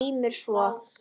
GRÍMUR: Svo?